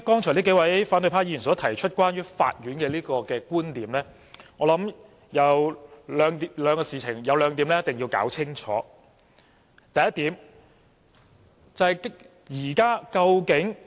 數位反對派議員剛才提出了有關法院的觀點，我想其中有兩點是一定要弄清楚的。